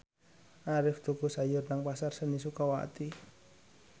Arif tuku sayur nang Pasar Seni Sukawati